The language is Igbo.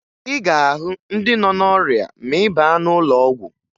Ị ga-ahụ ndị nọ n'ọrịa ma ị baa n'ụlọọgwụ